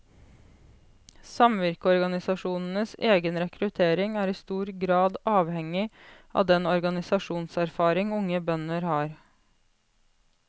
Samvirkeorganisasjonenes egen rekruttering er i stor grad avhengig av den organisasjonserfaring unge bønder har.